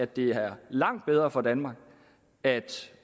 det er langt bedre for danmark at